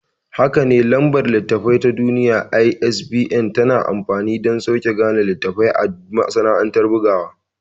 Hakane, Lambar Littattafai ta Duniya (ISBN) tanada amfani dansaukin gane littafi a masana'antar bugawa.